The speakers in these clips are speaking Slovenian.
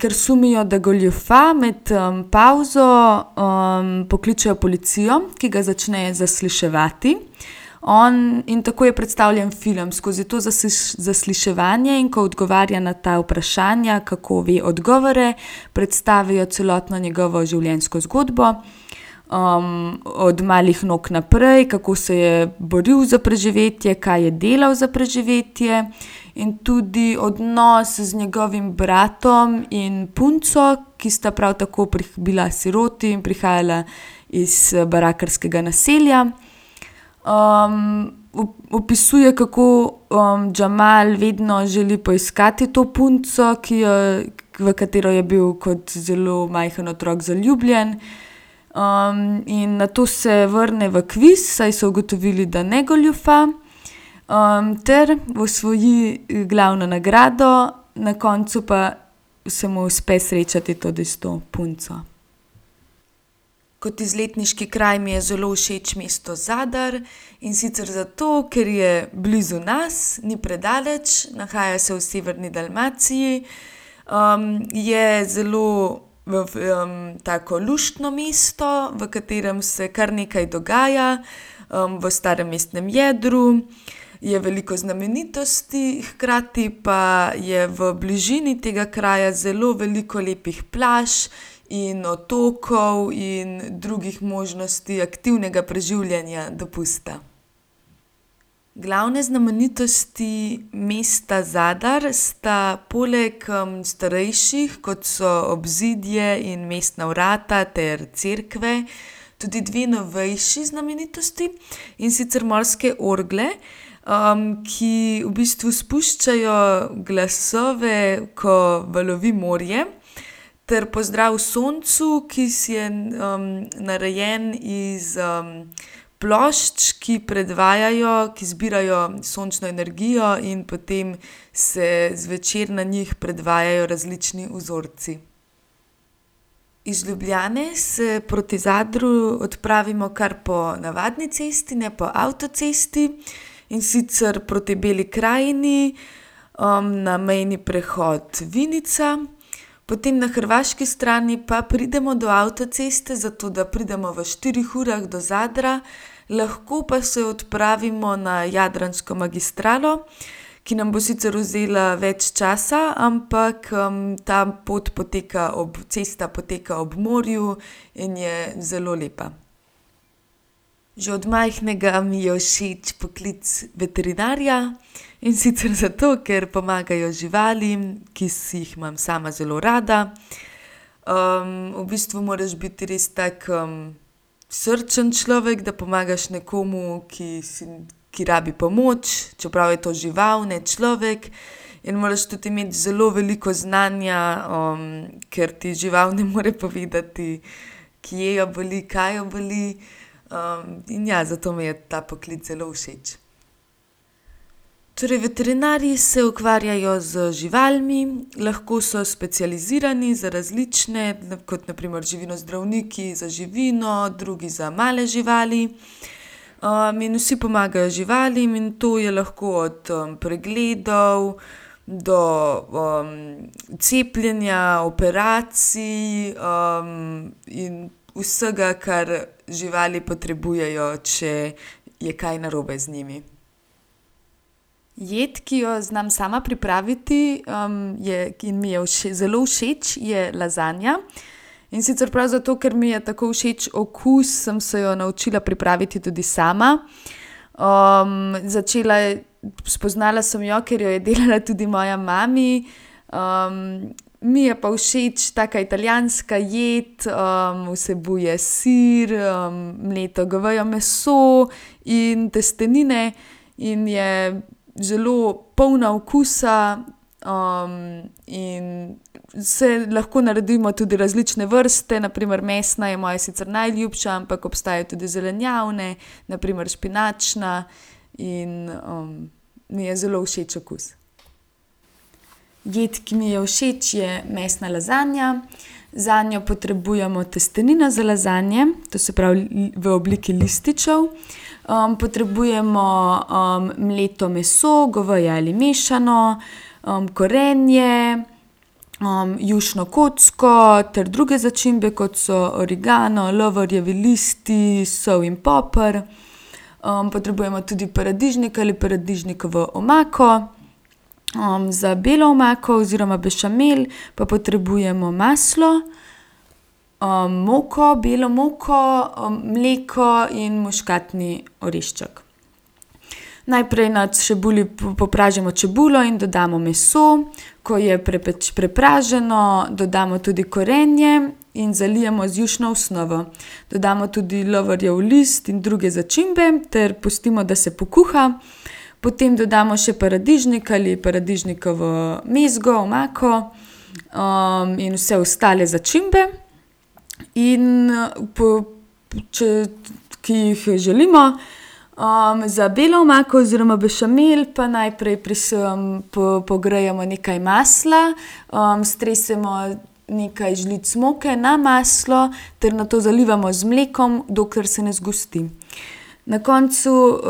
kar sumijo, da goljufa, med, pavzo, pokličejo policijo, ki ga začne zasliševati. On, in tako je predstavljen film, skozi to zasliševanje, in ko odgovarja na ta vprašanja, kako ve odgovore, predstavijo celotno njegovo življenjsko zgodbo, od malih nog naprej, kako se je boril za preživetje, kaj je delal za preživetje in tudi odnos z njegovim bratom in punco, ki sta prav tako bila siroti in prihajala iz, barakarskega naselja. opisuje, kako, Jamal vedno želi poiskati to punco, ki jo, v katero je bil kot zelo majhno otrok zaljubljen. in nato se vrne v kviz, saj so ugotovili, da ne goljufa, ter osvoji glavno nagrado, na koncu pa se mu uspe srečati tudi s to punco. Kot izletniški kraj mi je zelo všeč mesto Zadar, in sicer zato, ker je blizu nas, ni predaleč, nahaja se v severni Dalmaciji. je zelo tako, luštno mesto, v katerem se kar nekaj dogaja. v starem mestnem jedru je veliko znamenitosti, hkrati pa je v bližini tega kraja zelo veliko lepih plaž in otokov in drugih možnosti aktivnega preživljanja dopusta. Glavne znamenitosti mesta Zadar sta poleg, starejših, kot so obzidje in mestna vrata ter cerkve, tudi dve novejši znamenitosti, in sicer morske orgle, ki v bistvu spuščajo glasove, ko valovi morje, ter pozdrav soncu, ki je, narejen iz, plošč, ki predvajajo, ki zbirajo sončno energijo, in potem se zvečer na njih predvajajo različni vzorci. Iz Ljubljane se proti Zadru odpravimo kar po navadni cesti, ne po avtocesti. In sicer proti Beli krajini, na mejni prehod Vinica. Potem na hrvaški strani pa pridemo do avtoceste, zato da pridemo v štirih urah do Zadra. Lahko pa se odpravimo na jadransko magistralo, ki nam bo sicer vzela več časa, ampak, ta pot poteka ob, cesta poteka ob morju in je zelo lepa. Že od majhnega mi je všeč poklic veterinarja. In sicer zato, ker pomagajo živalim, ki jih imam sama zelo rada. v bistvu moraš biti res tak, srčen človek, da pomagaš nekomu, ki si ki rabi pomoč, čeprav je to žival, ne človek. In moraš tudi imeti zelo veliko znanja, ker ti žival ne more povedati, kje jo boli, kaj jo boli. in ja, zato mi je ta poklic zelo všeč. Torej veterinarji se ukvarjajo z živalmi. Lahko so specializirani za različne, kot na primer živinozdravniki za živino, drugi za male živali. in vsi pomagajo živalim in to je lahko od, pregledov do, cepljenja, operacij, in vsega, kar živali potrebujejo, če je kaj narobe z njimi. Jed, ki jo znam sama pripraviti, je, in mi zelo všeč, je lazanja. In sicer prav zato, ker mi je tako všeč okus, sem se jo naučila pripraviti tudi sama. začela, spoznala sem jo, ker jo je delala tudi moja mami. mi je pa všeč, taka italijanska pojdi. vsebuje sir, mleto goveje meso in testenine in je zelo polna okusa, in lahko naredimo tudi različne vrste, na primer mesna je moja sicer najljubša, ampak obstajajo tudi zelenjavne, na primer špinačna, in, mi je zelo všeč okus. Jed, ki mi je všeč, je mesna lazanja. Zanjo potrebujemo testenine za lazanje, to se pravi, v obliki lističev. potrebujemo, mleto meso, goveje ali mešano, korenje, jušno kocko ter druge začimbe, kot so origano, lovorjevi listi, sol in poper. potrebujmo tudi paradižnik ali paradižnikovo omako. za belo omako oziroma bešamel pa potrebujemo maslo, moko, belo moko, mleko in muškatni orešček. Najprej na čebuli popražimo čebulo in dodamo meso. Ko je prepraženo, dodamo tudi korenje in zalijemo z jušno osnovo. Dodamo tudi lovorjev list in druge začimbe ter pustimo, da se pokuha. Potem dodamo še paradižnik ali paradižnikovo mezgo, omako, in vse ostale začimbe. In, po ki jih, želimo. za belo omako oziroma bešamel pa najprej pogrejemo nekaj masla, stresemo nekaj žlic moke na maslo ter nato zalivamo z mlekom, dokler se ne zgosti. Na koncu,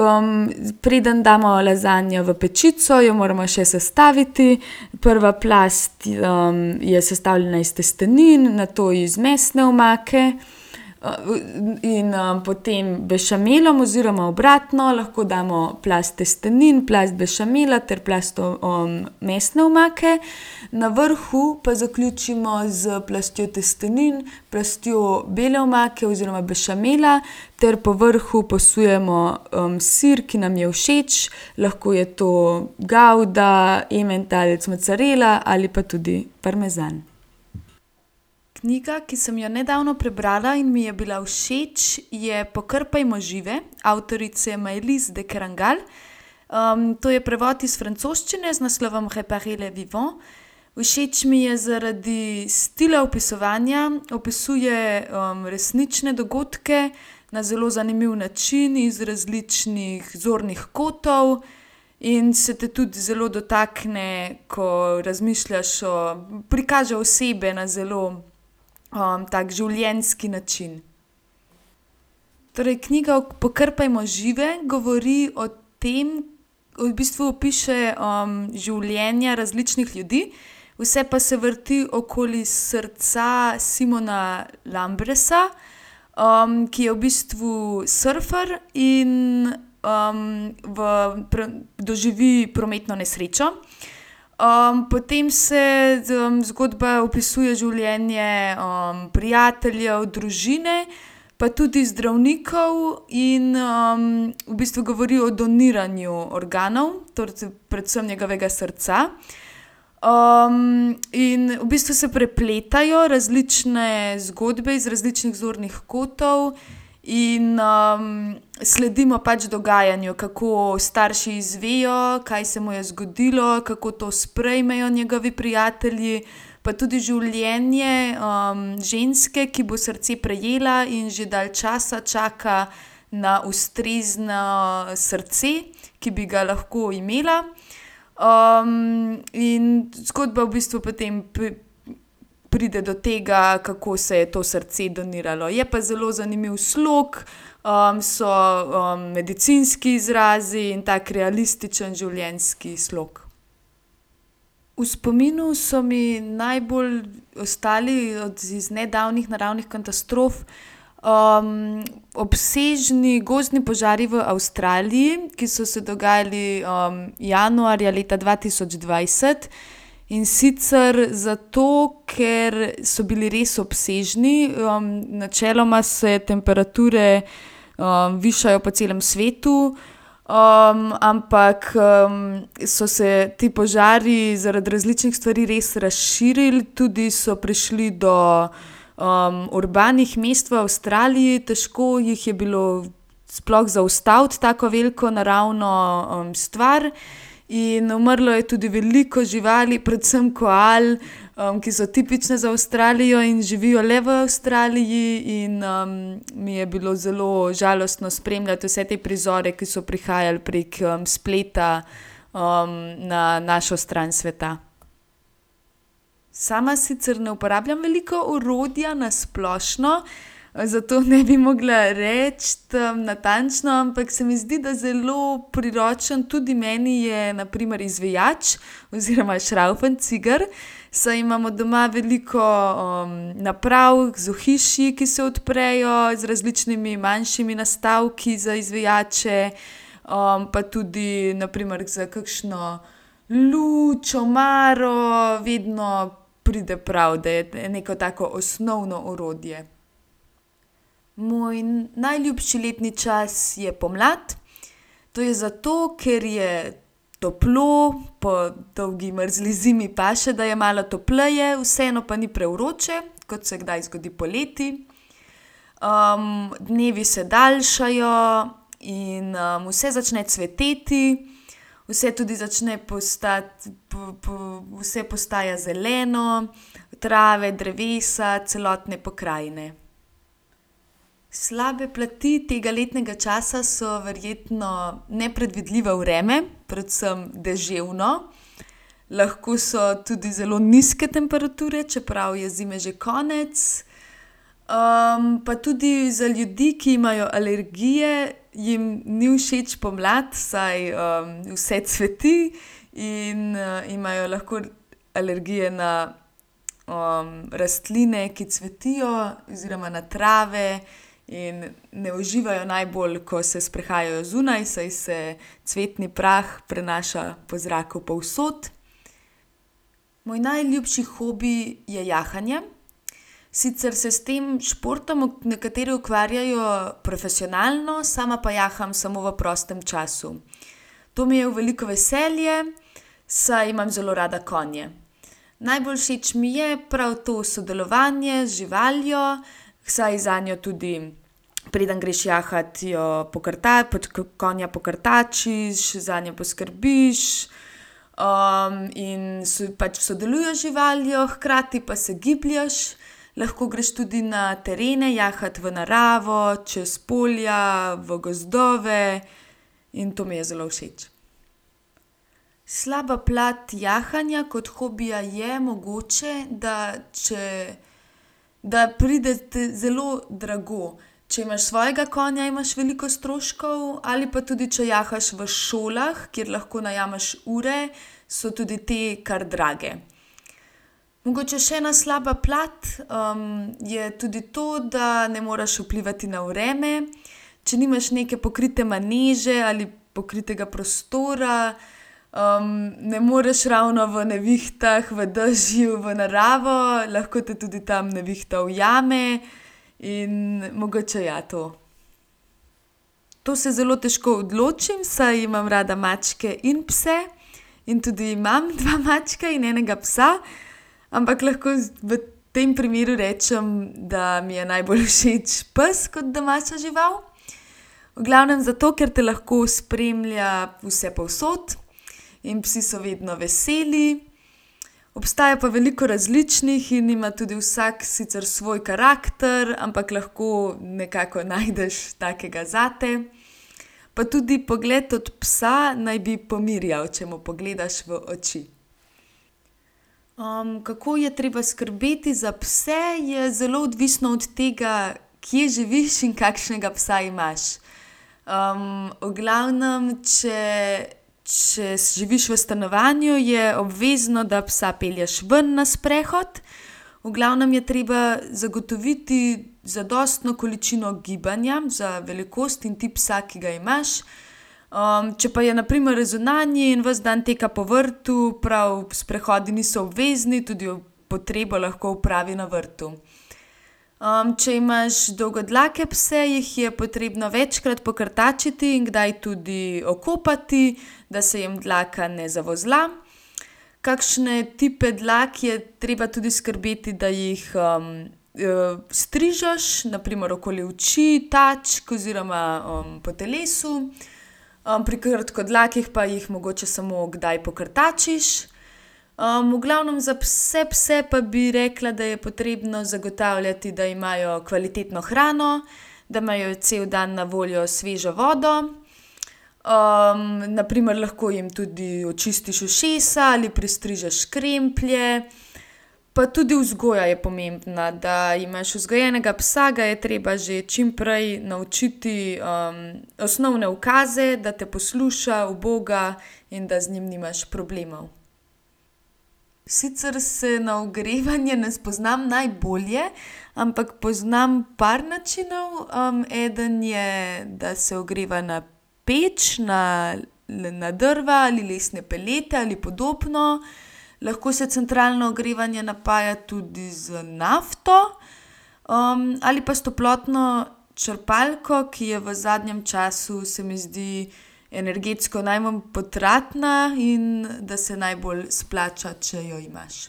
preden damo lazanjo v pečico, jo moramo še sestaviti. Prva plast, je sestavljena iz testenin, nato iz mesne omake, in, potem bešamelom oziroma obratno, lahko damo plast testenin, plast bešamela ter plast, mesne omake. Na vrhu pa zaključimo s plastjo testenin, plastjo bele omake oziroma bešamela ter po vrhu posujemo, sir, ki nam je všeč. Lahko je to gavda, ementalec, mocarela ali pa tudi parmezan. Knjiga, ki sem jo nedavno prebrala in mi je bila všeč, je Pokrpajmo žive avtorice Maylis de Kerangal. to je prevod iz francoščine z naslovom. Všeč mi je zaradi stila opisovanja. Opisuje, resnične dogodke na zelo zanimiv način, iz različnih zornih kotov. In se potem tudi zelo dotakne, ko razmišljaš o ... Prikaže osebe na zelo, tako, življenjski način. Torej, knjiga Pokrpajmo žive govori o tem, v bistvu opiše, življenja različnih ljudi, vse pa se vrti okoli srca Simona Lambresa, ki je v bistvu surfer in, v doživi prometno nesrečo. potem se, zgodba opisuje življenje, prijateljev, družine, pa tudi zdravnikov in, v bistvu govori o doniranju organov predvsem njegovega srca. in v bistvu se prepletajo različne zgodbe iz različnih zornih kotov in, sledimo pač dogajanju. Kako starši izvejo, kaj se mu je zgodilo, kako to sprejmejo njegovi prijatelji, pa tudi življenje, ženske, ki bo srce prejela in že dalj časa čaka na ustrezno srce, ki bi ga lahko imela. in zgodba v bistvu potem pride do tega, kako se je to srce doniralo. Je pa zelo zanimiv slog, so, medicinski izrazi in tako realističen, življenjski slog. V spominu so mi najbolj ostali iz nedavnih naravnih katastrof, obsežni gozdni požari v Avstraliji, ki so se dogajali, januarja leta dva tisoč dvajset. In sicer zato, ker so bili res obsežni, načeloma se temperature, višajo po celem svetu, ampak, so se ti požari zaradi različnih stvari res razširili, tudi so prišli do, urbanih mest v Avstraliji, težko jih je bilo sploh zaustaviti, tako veliko naravno, stvar. In umrlo je tudi veliko živali, predvsem koal, ki so tipične za Avstralijo in živijo le v Avstraliji, in, mi je bilo zelo žalostno spremljati vse te prizore, ki so prihajali prek, spleta, na našo stran sveta. Sama sicer ne uporabljam veliko orodja na splošno, zato ne bi mogla reči, natančno, ampak se mi zdi, da zelo priročen tudi meni je na primer izvijač oziroma šravfencigar, saj imamo doma veliko, naprav z ohišji, ki se odprejo z različnimi manjšimi nastavki za izvijače, pa tudi na primer za kakšno luč, omaro vedno pride pravi, da je neko tako osnovno orodje. Moj najljubši letni čas je pomlad. To je zato, ker je toplo, po dolgi, mrzli zimi paše, da je malo topleje, vseeno pa ni prevroče, kot se kdaj zgodi poleti. dnevi se daljšajo in, vse začne cveteti. Vse tudi začne postati, vse postaja zeleno, trave, drevesa, celotne pokrajine. Slabe plati tega letnega časa so verjetno nepredvidljivo predvsem, deževno vreme, lahko so tudi zelo nizke temperature, čeprav je zime že konec. pa tudi za ljudi, ki imajo alergije, jim ni všeč pomlad, saj, vse cveti in, imajo lahko alergije na, rastline, ki cvetijo oziroma na trave in ne uživajo najbolj, ko se sprehajajo zunaj, saj se cvetni prah prenaša po zraku povsod. Moj najljubši hobi je jahanje. Sicer se s tem športom nekateri ukvarjajo profesionalno, sama pa jaham samo v prostem času. To mi je v veliko veselje, saj imam zelo rada konje. Najbolj všeč mi je prav to sodelovanje z živaljo, saj zanjo tudi, preden greš jahat, jo pač konja pokrtačiš, zanjo poskrbiš, in pač sodeluješ z živaljo, hkrati pa se giblješ. Lahko greš tudi na terene, jahat v naravo, čez polja, v gozdove. In to mi je zelo všeč. Slaba plat jahanja kot hobija je mogoče, da če, da pride te zelo drago. Če imaš svojega konja, imaš veliko stroškov ali pa tudi če jahaš v šolah, kjer lahko najameš ure, so tudi te kar drage. Mogoče še ena slaba plat, je tudi to, da ne moreš vplivati na vreme. Če nimaš neke pokrite maneže ali pokritega prostora, ne moreš ravno v nevihtah, v dežju v naravo. Lahko potem tudi tam nevihta ujame. In mogoče ja, to. To se zelo težko odločim, saj imam rada mačke in pse. In tudi imam dva mačka in enega psa. Ampak lahko v tem primeru rečem, da mi je najbolj všeč pes kot domača žival. V glavnem zato, ker te lahko spremlja vsepovsod in psi so vedno veseli. Obstaja pa veliko različnih in ima tudi vsak sicer svoj karakter, ampak lahko nekako najdeš takega zate. Pa tudi pogled od psa naj bi pomirjal, če mu pogledaš v oči. kako je treba skrbeti za pse, je zelo odvisno od tega, kje živiš in kakšnega psa imaš. v glavnem če, če živiš v stanovanju, je obvezno, da psa pelješ ven na sprehod. V glavnem je treba zagotoviti zadostno količino gibanja za velikost in tip psa, ki ga imaš. če pa je na primer zunanji in vas dan tukaj po vrtu, prav sprehodi niso obvezni, tudi potrebo lahko opravi na vrtu. če imaš dolgodlake pse, jih je potrebno večkrat pokrtačiti in kdaj tudi okopati, da se jim dlaka ne zavozla. Kakšne tipe dlak je treba tudi skrbeti, da jih, strižeš, na primer okoli oči, tačk oziroma, po telesu. pri kratkodlakih pa jih mogoče samo kdaj pokrtačiš. v glavnem za vse pse pa bi rekla, da je potrebno zagotavljati, da imajo kvalitetno hrano, da imajo cel dan na voljo svežo vodo. na primer lahko jim tudi očistiš ušesa ali pristrižeš kremplje. Pa tudi vzgoja je pomembna. Da imaš vzgojenega psa, ga je treba že čimprej naučiti, osnovne ukaze, da te posluša, uboga in da z njim nimaš problemov. Sicer se na ogrevanje ne spoznam najbolje, ampak poznam par načinov. eden je, da se ogreva na peč, na na drva ali lesne pelete ali podobno. Lahko se centralno ogrevanje napaja tudi z nafto, ali pa s toplotno črpalko, ki je v zadnjem času, se mi zdi, energetsko najmanj potratna in da se najbolj splača, če jo imaš.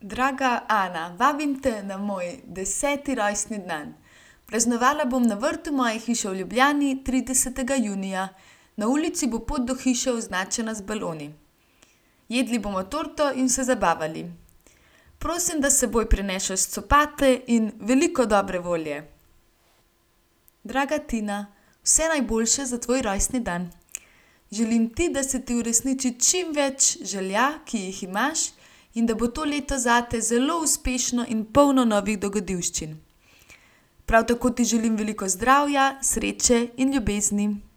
Draga Ana. Vabim te na moj deseti rojstni dan. Praznovala bom na vrtu moje hiše v Ljubljani, tridesetega junija. Na ulici bo pot do hiše označena z baloni. Jedli bomo torto in se zabavali. Prosim, da s seboj prineseš copate in veliko dobre volje. Draga Tina. Vse najboljše za tvoj rojstni dan. Želim ti, da se ti uresniči čim več želja, ki jih imaš, in da bo to leto zate zelo uspešno in polno novih dogodivščin. Prav tako ti želim veliko zdravja, sreče in ljubezni.